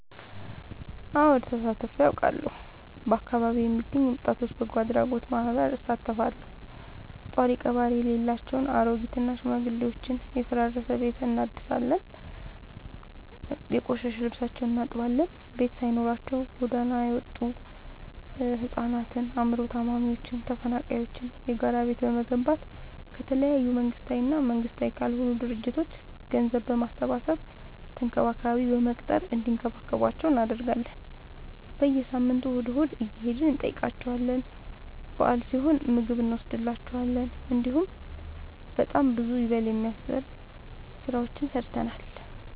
አወድ ተሳትፊ አውቃለሁ። በአካቢዬ የሚገኝ የወጣቶች በጎአድራጎት ማህበር እሳተፋለሁ። ጦሪቀባሪ የሌላቸው አሬጊት እና ሽማግሌዎችን የፈራረሰ ቤታቸውን እናድሳለን፤ የቆሸሸ ልብሳቸውን እናጥባለን፤ ቤት ሳይኖራቸው ጎዳና የወጡቱ ህፃናትን አይምሮ ታማሚዎችን ተፈናቃይዎችን የጋራ ቤት በመገንባት ከተለያዩ መንግስታዊ እና መንግስታዊ ካልሆኑ ድርጅቶች ገንዘብ በማሰባሰብ ተንከባካቢ በመቅጠር እንዲከባከቧቸው እናደርጋለን። በየሳምንቱ እሁድ እሁድ እየሄድን እንጠይቃቸዋለን በአል ሲሆን ምግብ እኖስድላቸዋለን። እንዲሁም በጣም ብዙ ይበል የሚያስብ ስራዎችን ሰርተናል።